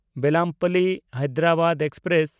ᱵᱮᱞᱟᱢᱯᱟᱞᱞᱤ–ᱦᱟᱭᱫᱨᱟᱵᱟᱫ express